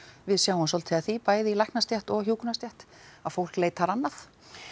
við sjáum svolítið af því bæði í læknastétt og í hjúkrunarstétt að fólk leitar annað